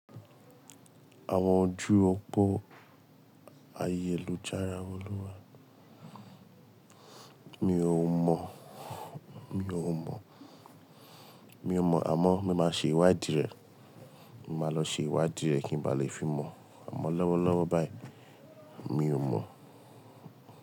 Àwọn ojú òpó ayélujára Olúwa, mi ò mọ, mi ò mọ, mi ò mọ àmọ́ mo máa ṣe ìwádìí rẹ̀. Mo máa lọ ṣe ìwádìí rẹ̀ kí ń bá lè fi mọ̀. Àmọ́ lọ́wọ́lọ́wọ́ báyìí mi ò mọ̀.